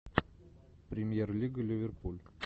премьер лига ливерпуль